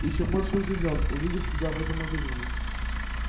ещё больше удивлён увидев тебя в этом магазине